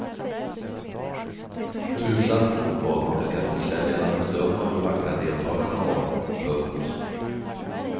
Tursamt nog bad man biljettförsäljarna att bedöma hur vackra deltagarna var. punkt